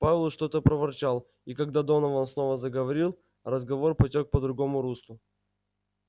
пауэлл что-то проворчал и когда донован снова заговорил разговор потёк по другому руслу